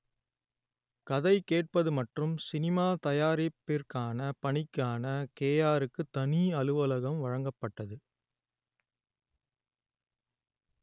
கதை கேட்பது மற்றும் சினிமா தயாரிப்பிற்கான பணிக்கான கேயாருக்கு தனி அலுவலகம் வழங்கப்பட்டது